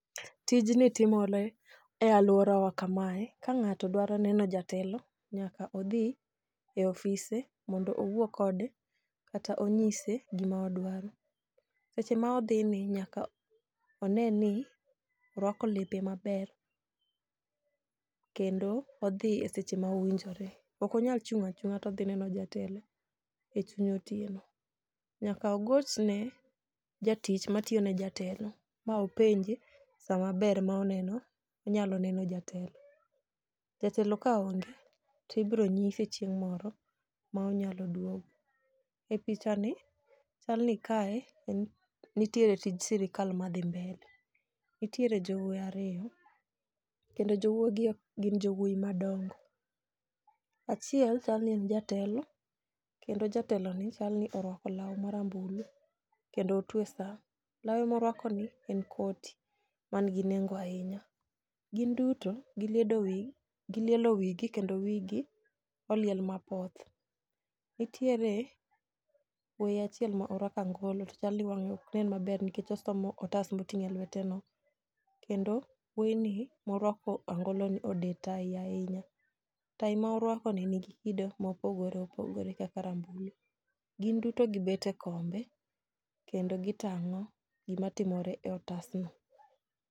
Tijni timore e aluorawa kamae. Kang'ato dwaro neno jatelo nyaka odhi e ofise, mondo owuo kode, kata onyise gima odwaro. Seche ma odhini nyaka one ni orwako lepe maber, kendo odhi e seche ma owinjore. Okonyal chung' achung'a todhi neno jatelo e chuny otieno. Nyaka ogochne jatich matiyone jatelo, ma openje sama ber ma inyalo neno jatelo. Jatelo kaonge to ibiro nyise chieng' moro ma onyalo duogo. E pichani chalni kae nitiere tij sirkal madhi mbele. Nitiere jowoi ariyo, kendo jowoi gi gin jowoi madongo. Achiel chalni en jatelo, kendo jateloni, chalni oruako lau marambulu, kendo otwe saa. Lawe moruakoni en koti, manigi nengo ahinya. Gin duto gilielo wigi kendo wigi oliel mapoth. Nitiere wuoyi achiel ma orwako angolo, to chalni wang'e oknen maber nikech osomo otas moting'o e lweteno. Kendo wuoyni moruako angoloni, ode tai ahinya. Tai ma oruakoni ni gi kido mopogore opogore kaka rambulu. Gin duto gibet e kombe kendo gitang'o gimatimore e otasno.